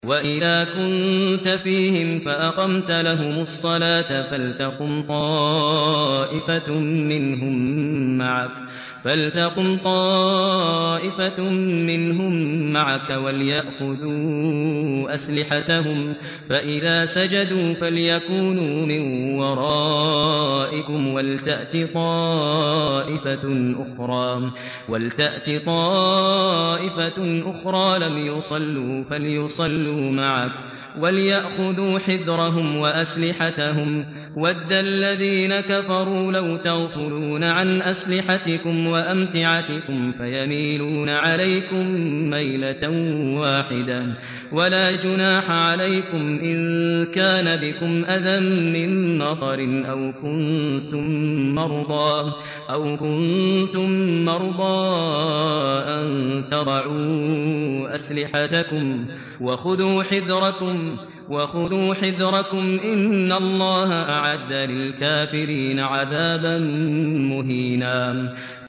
وَإِذَا كُنتَ فِيهِمْ فَأَقَمْتَ لَهُمُ الصَّلَاةَ فَلْتَقُمْ طَائِفَةٌ مِّنْهُم مَّعَكَ وَلْيَأْخُذُوا أَسْلِحَتَهُمْ فَإِذَا سَجَدُوا فَلْيَكُونُوا مِن وَرَائِكُمْ وَلْتَأْتِ طَائِفَةٌ أُخْرَىٰ لَمْ يُصَلُّوا فَلْيُصَلُّوا مَعَكَ وَلْيَأْخُذُوا حِذْرَهُمْ وَأَسْلِحَتَهُمْ ۗ وَدَّ الَّذِينَ كَفَرُوا لَوْ تَغْفُلُونَ عَنْ أَسْلِحَتِكُمْ وَأَمْتِعَتِكُمْ فَيَمِيلُونَ عَلَيْكُم مَّيْلَةً وَاحِدَةً ۚ وَلَا جُنَاحَ عَلَيْكُمْ إِن كَانَ بِكُمْ أَذًى مِّن مَّطَرٍ أَوْ كُنتُم مَّرْضَىٰ أَن تَضَعُوا أَسْلِحَتَكُمْ ۖ وَخُذُوا حِذْرَكُمْ ۗ إِنَّ اللَّهَ أَعَدَّ لِلْكَافِرِينَ عَذَابًا مُّهِينًا